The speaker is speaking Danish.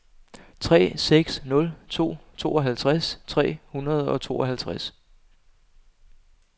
tre seks nul to tooghalvtreds tre hundrede og tooghalvtreds